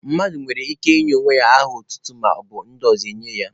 Mmadụ nwere ike inye onwe ya aha otutu, maọbụ ndị ọzọ enye ya.